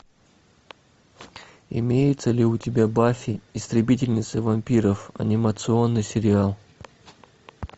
имеется ли у тебя баффи истребительница вампиров анимационный сериал